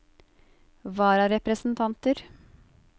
vararepresentanter